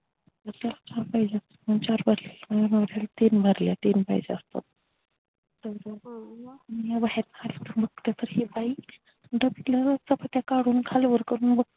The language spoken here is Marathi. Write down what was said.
त्याला चार पाहिजे असतात तर तीन भरलेल्या तीन पाहिजे असत्यात तर हि बाई घातलेल्या चपात्या खाली वर करून बघतीय